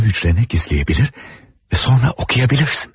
Onu hücrənə gizləyə bilir və sonra oxuya bilirsən.